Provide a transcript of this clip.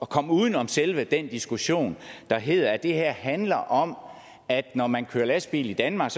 komme uden om selve den diskussion der hedder at det her handler om at når man kører lastbil i danmark